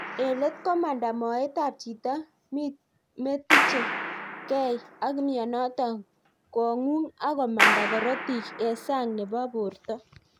Eng let komandaa moet ap chito me tiche gei ak mionotok ,kongung ak komandaa korotik eng sang nepo portoo